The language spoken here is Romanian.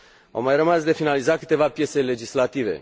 Au mai rămas de finalizat câteva piese legislative.